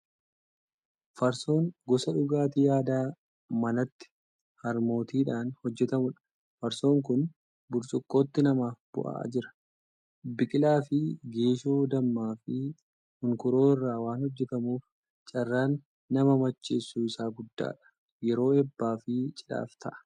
Farsoon gosa dhugaatii aadaa manatti harmootiidhaan hojjetamudha. Farsoon kun burcuqqootti namaaf bu'aa jira. Biqilaa fi geeshoo, dammaa fi hunkuroo irraa waan hojjetamuuf carraan nama macheessuu isaa guddaadha. Yeroo eebbaa fi cidhaaf ta'a.